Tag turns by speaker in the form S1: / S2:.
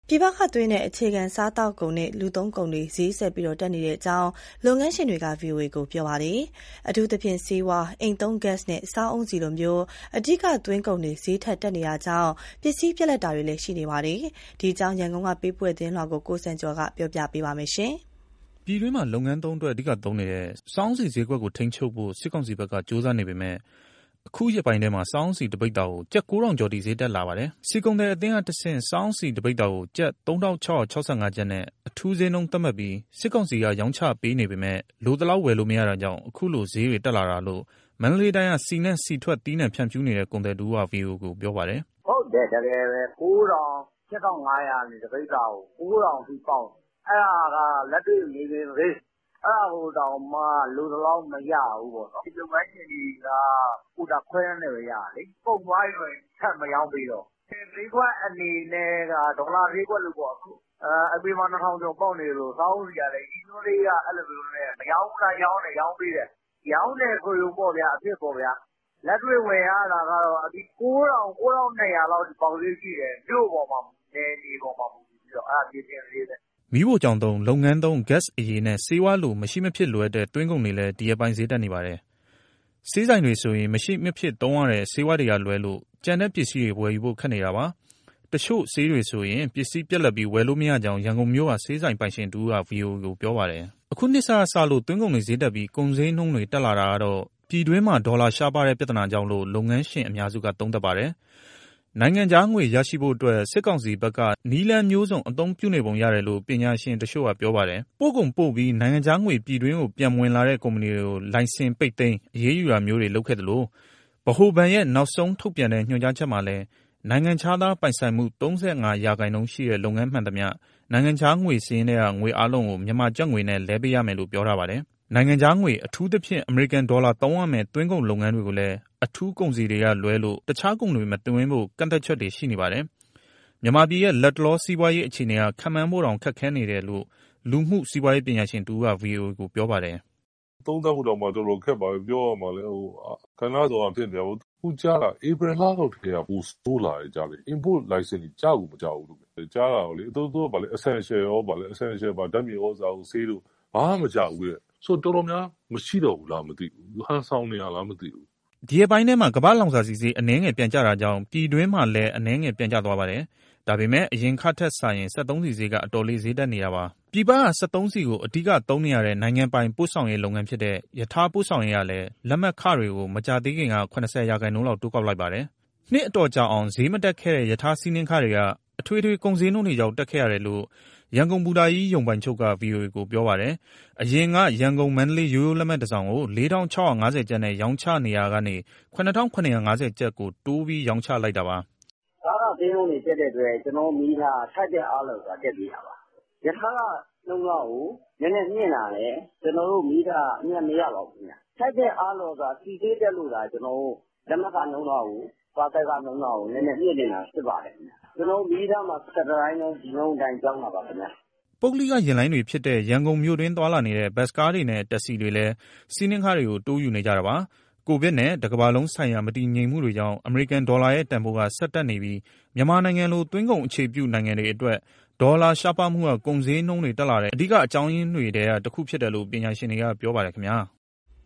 S1: ပြည်ပကသွင်းတဲ့ အခြေခံစားသောက်ကုန်နဲ့ လူသုံးကုန်တွေ ဈေးဆက်ပြီးတက်နေတယ်လို့ လုပ်ငန်းရှင်တွေက ဗွီအိုအေကိုပြောပါတယ်။ အထူးသဖြင့် ဆေးဝါး၊ အိမ်သုံးဂက်စ်နဲ့ စားအုန်းဆီလို အဓိကသွင်းကုန်တွေ ဈေးထပ်တက်လာပြီး ပစ္စည်းပြတ်လပ်တာတွေ ရှိနေပါတယ်။ ဒီအကြောင်း ရန်ကုန်ကပေးပို့ထားတာကို ကိုစံကျော်က တင်ပြပေးထားပါတယ်။ ပြည်တွင်းမှာ လုပ်ငန်းသုံးအတွက် အဓိကသုံးနေတဲ့ စားအုန်းဆီဈေးကွက်ကို ထိန်းချုပ်ဖို့ စစ်ကောင်စီဘက်က ကြိုးစားနေပေမဲ့ အခုရက်ပိုင်းထဲမှာ စားအုန်းဆီ တပိဿာကို ကျပ် ၉,၀၀၀ ကျော်အထိ ဈေးတက်လာပါတယ်။ ဆီကုန်သည်အသင်းကတဆင့် စားအုန်းဆီတပိဿာကို ကျပ် ၃,၆၆၅ ကျပ်နဲ့ အထူးဈေးနှုန်းသတ်မှတ်ပြီး စစ်ကောင်စီက ရောင်းချပေးနေပေမဲ့ လိုသလောက်ဝယ်လို့မရတာကြောင့် အခုလိုဈေးတွေ တက်လာတာလို့ မန္တလေးတိုင်းက ဆီနဲ့ဆီထွက်သီးနှံဖြန့်ဖြူးနေတဲ့ ကုန်သည်တဦးက ဗွီအိုအေကို ပြောပါတယ်
S2: ။ "ဟုတ်တယ်တကယ်ပဲ ၉,၀၀၀၊ ၈,၅၀၀ ကနေ တပိဿာကို ၉,၀၀၀ လောက်အထိပေါက်နေတယ်၊ အဲဒါက လက်တွေ့မြေပြင်ဈေး။ အဲဒါကိုတောင်မှ လိုသလောက်မရဘူး။ ဆီလုပ်ငန်းရှင်တွေက ကိုတာခွဲတမ်းနဲ့ပဲ ရတာလေ။ ကုန်သွားပြီဆို ထပ်မရောင်းပေးတော့ဘူး။ အပြင်ဈေးကွက်အနေနဲ့က ဒေါ်လာဈေးကွက်လိုပေါ့။ အပြင်မှာ ၂,၀၀၀ ကျော်ပေါက်နေတယ်ဆို စားအုန်းဆီကလည်း ရည်ညွှန်းဈေးအရ မရောင်းလားဆို ရောင်းပေးတယ်။ ရောင်းတယ်ဆိုရုံလောက်ပေါ့ဗျာ အဖြစ်ပေါ့။ လက်တွေ့ဝယ်ရတာကတော့ ၉၀၀၀ ကနေ ၉၂၀၀ လောက်အထိ ပေါက်ဈေးရှိတယ်၊ မြို့အပေါ်၊ နယ်မြေအပေါ် မူတည်ပြီး။ အဲဒါမြေပြင်ဈေး။"
S1: မီးဖိုချောင်သုံး၊ လုပ်ငန်းသုံး ဂက်စ်အရည်နဲ့ ဆေးဝါးလို မရှိမဖြစ်လိုအပ်တဲ့ သွင်းကုန်တွေလည်း ဒီရက်ပိုင်းဈေးတက်နေပါတယ်။ ဆေးဆိုင်တွေဆိုရင် မရှိမဖြစ် သုံးရတဲ့ ဆေးဝါးတွေကလွဲလို့ ကျန်တဲ့ပစ္စည်းတွေ ဝယ်ယူဖို့ခက်နေတာပါ။ တချို့ဆေးတွေဆိုရင် ပစ္စည်းပြတ်လပ်ပြီး ဝယ်လို့မရကြောင်း ရန်ကုန်မြို့က ဆေးဆိုင်ပိုင်ရှင်ဦးက ဗွီအိုအေကို ပြောပါတယ်။ အခုနှစ်စကစလို့ သွင်းကုန်တွေဈေးတက်ပြီး ကုန်ဈေးနှုန်းတွေ တက်လာတာကတော့ ပြည်တွင်းမှာ ဒေါ်လာရှားပါတဲ့ပြဿနာကြောင့်လို့ လုပ်ငန်းရှင်အများစုက သုံးသပ်ပါတယ်။ နိုင်ငံခြားငွေရရှိဖို့အတွက် စစ်ကောင်စီဘက်က နည်းလမ်းမျိုးစုံ အသုံးပြုနေပုံရတယ်လို့ ပညာရှင်တချို့က ပြောပါတယ်။ ပို့ကုန်ပို့ပြီး နိုင်ငံခြားငွေပြည်တွင်းကို ပြန်မဝင်လာတဲ့ ကုမ္ပဏီတွေကို လိုင်စင်ပိတ်သိမ်း၊ အရေးယူတာမျိုးတွေ လုပ်ခဲ့သလို ဗဟိုဘဏ်ရဲ့ နောက်ဆုံးထုတ်ပြန်တဲ့ ညွှန်ကြားချက်မှာလည်း နိုင်ငံခြားသားပိုင်ဆိုင်မှု ၃၅ ရာခိုင်နှုန်းရှိတဲ့ လုပ်ငန်းမှန်သမျှ နိုင်ငံခြားငွေစာရင်းထဲက ငွေအားလုံးကို မြန်မာကျပ်ငွေနဲ့ လဲပေးရမယ်လို့ ပြောထားပါတယ်။ နိုင်ငံခြားငွေ အထူးသဖြင့် အမေရိကန်ဒေါ်လာသုံးရမယ့် သွင်းကုန်လုပ်ငန်းတွေကိုလည်း အထူးကုန်စည်တွေကလွဲပြီး တခြားကုန်တွေမသွင်းဖို့ ကန့်သတ်ချက်တွေ ရှိနေပါတယ်။ မြန်မာပြည်ရဲ့ လက်တလော စီးပွားရေးအခြေအနေက ခန့်မှန်းဖို့တောင် ခက်ခဲနေတယ်လို့ လူမှုစီးပွားရေး ပညာရှင်တဦးက ဗွီအိုအေကို ပြောပါတယ်။ "သုံးသပ်ဖို့တောင် တော်တော်ခက်ပါတယ်။ ပြောရမလဲ။ ကဏ္ဍစုံကဖြစ်နေတာကိုး။ အခုကြားတာ ဧပြီလလောက်ကတည်းက ပိုဆိုးလာတယ်ကြားတယ်။ Import (သွင်းကုန်)လိုင်စင်တွေ ကျကိုမကျဘူး။ ကြားတာကတော့ သူတို့ essential ဖြစ်တဲ့ ဓာတ်မြေဩဇာတို့၊ ဆေးတို့ ဘာမှမကျဘူးတဲ့။ ဆိုတော့ တော်တော်များများ မရှိတော့ဘူးလားမသိဘူး။ ဟန်ဆောင်နေတာလားမသိဘူး။" ဒီရက်ပိုင်းထဲမှာ ကမ္ဘာ့လောင်စာဆီဈေး အနည်းငယ်ပြန်ကျတာကြောင့် ပြည်တွင်းမှာလည်း အနည်းငယ်ပြန်ကျသွားပါတယ်။ ဒါပေမဲ့ အရင်ကထက်စာရင် စက်သုံးဆီဈေးက အတော်လေး ဈေးတက်နေတာပါ။ ပြည်ပကစက်သုံးဆီကို အဓိကသုံးနေတဲ့ နိုင်ငံပိုင် ပို့ဆောင်ရေးလုပ်ငန်းဖြစ်တဲ့ ရထားပို့ဆောင်ရေးကလည်း လက်မှတ်ခတွေကို မကြာသေးခင်က ၇၀ ရာခိုင်နှုန်းလောက် တိုးကောက်လိုက်ပါတယ်။ နှစ်အတော်ကြာအောင် ဈေးမတက်ခဲ့တဲ့ ရထားစီးနင်းခတွေက အထွေထွေကုန်ဈေးနှုန်းတွေကြောင့် တက်ခဲ့ရတယ်လို့ ရန်ကုန်ဘူတာကြီး ရုံပိုင်ချုပ်က ဗွီအိုအေကို ပြောပါတယ်။ အရင်က ရန်ကုန်- မန္တလေး ရိုးရိုးလက်မှတ်တစောင်ကို ၄,၆၅၀ ကျပ်နဲ့ ရောင်းချနေရာကနေ ၇,၇၅၀ ကျပ်ကို တိုးပြီးရောင်းချလိုက်တာပါ။
S2: "ကားခဈေးနှုန်းတွေ တက်တဲ့အတွက် ကျနော်တို့မီးရထားက ထိုက်တဲ့အားလျော် စွာ တက်ပေးတာပါ။ ရထားခနှုန်းတားကို နည်းနည်မြှင့်တာနဲ့ ကျနော်တို့မီးရထားက အမြတ်မရပါဘူး။ ထိုက်တဲ့အားလျော်စွာ ဆီဈေးတက်လို့သာကျနော်တို့ လက်မှတ်ခနှုန်းတားကို၊ ပါဆယ်ခနှုန်းတားကို နည်းနည်းမြှင့်တင်တာ ဖြစ်ပါတယ်။ ကျနော်တို့မီးရထားမှာ ၁၁ တိုင်းလုံး ဒီနှုန်းအတိုင်း ပြောင်းတာပါခင်ဗျ။
S1: " ပုဂ္ဂလိကယာဉ်လိုင်းတွေဖြစ်တဲ့ ရန်ကုန်မြို့တွင်းသွားလာနေတဲ့ ဘတ်စ်ကားတွေနဲ့ တက္ကစီတွေလည်း စီးနင်းခတွေကို တိုးယူနေကြတာပါ။ ကိုဗစ်နဲ့တကမ္ဘာလုံးဆိုင်ရာ မတည်ငြိမ်မှုတွေကြောင့် အမေရိကန်ဒေါ်လာရဲ့ တန်ဖိုးက ဆက်တက်နေပြီး မြန်မာနိုင်ငံလို သွင်းကုန်အခြေပြု နိုင်ငံတွေအတွက် ဒေါ်လာရှားပါးမှုက ကုန်ဈေးနှုန်းတွေတက်လာတဲ့ အဓိကအကြောင်းရင်းတွေထဲက တခုဖြစ်တယ်လို့ ပညာရှင်တွေက ပြောပါတယ်ခင်ဗျား။